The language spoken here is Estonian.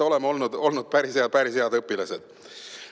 Oleme olnud päris head õpilased.